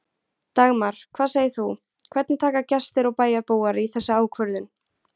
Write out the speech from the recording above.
Dagmar, hvað segir þú, hvernig taka gestir og bæjarbúar í þessa ákvörðun?